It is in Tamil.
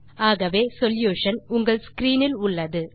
ஆகவே சொல்யூஷன் உங்கள் ஸ்க்ரீன் இல் உள்ளது